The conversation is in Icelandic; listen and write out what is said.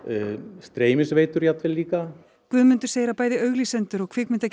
streymisveitur jafnvel líka Guðmundur segir að bæði auglýsendur og